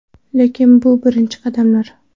Lekin bu birinchi qadamlar.